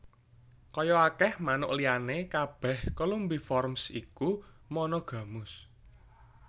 Kaya akèh manuk liyané kabèh Columbiformes iku monogamus